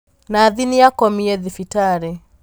Nathi nĩakomie thibitarĩ.